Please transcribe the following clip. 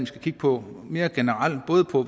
skal kigge på mere generelt